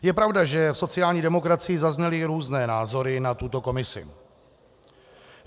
Je pravda, že v sociální demokracii zazněly různé názory na tuto komisi.